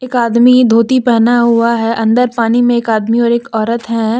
एक आदमी धोती पहन हुआ है अंदर पानी में एक आदमी और एक औरत है।